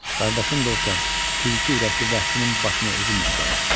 Qardaşın da olsa, tülkü ürəkli vəhşinin başını özüm əzərəm.